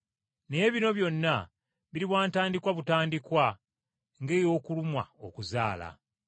Naye bino byonna biriba ntandikwa butandikwa ng’ey’okulumwa okuzaala.”